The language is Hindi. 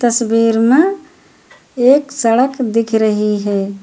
तस्वीर में एक सड़क दिख रही है।